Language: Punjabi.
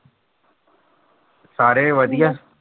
ਸਾਰੇ ਵਧੀਆ।